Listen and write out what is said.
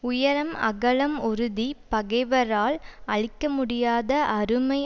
உயரம் அகலம் உறுதி பகைவரால் அழிக்க முடியாத அருமை